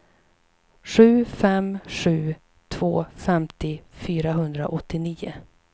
sju fem sju två femtio fyrahundraåttionio